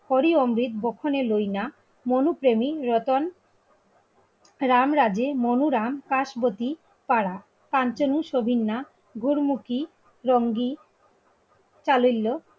হরি অমৃত গোখনে লইনা. মনুপ্রেমী রতন রামরাজের মনোরাম কাশবতি পাড়া, কাঞ্চনু ছবির নাথ, গুরমুখী, রঙ্গি কালিল্য,